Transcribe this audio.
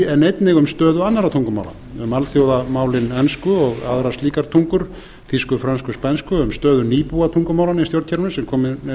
en einnig um stöðu annarra tungumála um alþjóðamálin ensku og aðrar slíkar tungur þýsku frönsku spænsku um stöðu nýbúatungumálanna í stjórnkerfinu sem kominn er